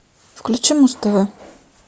включи муз тв